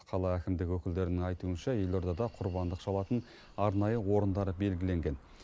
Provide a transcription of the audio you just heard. қала әкімдігі өкілдерінің айтуынша елордада құрбандық шалатын арнайы орындар белгіленген